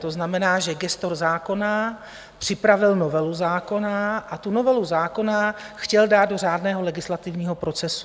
To znamená, že gestor zákona připravil novelu zákona a tu novelu zákona chtěl dát do řádného legislativního procesu.